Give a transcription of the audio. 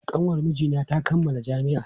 Kanwar mijina ta kammala jami'a.